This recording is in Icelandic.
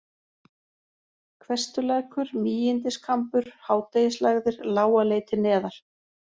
Hvestulækur, Mígindiskambur, Hádegislægðir, Lágaleiti neðar